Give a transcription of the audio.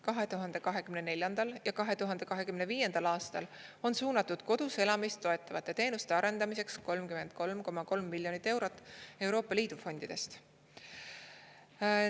2024. ja 2025. aastal on suunatud kodus elamist toetavate teenuste arendamiseks 33,3 miljonit eurot Euroopa Liidu fondidest.